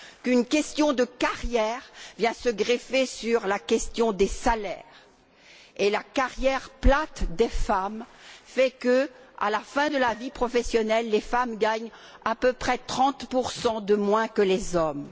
Une question de carrière vient donc se greffer sur la question des salaires. La carrière plate des femmes fait que, à la fin de la vie professionnelle, les femmes gagnent à peu près 30 de moins que les hommes.